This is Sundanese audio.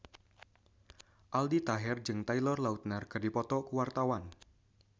Aldi Taher jeung Taylor Lautner keur dipoto ku wartawan